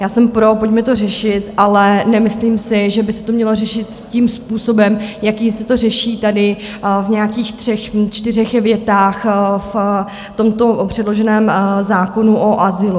Já jsem pro, pojďme to řešit, ale nemyslím si, že by se to mělo řešit tím způsobem, jakým se to řeší tady, v nějakých třech, čtyřech větách v tomto předloženém zákonu o azylu.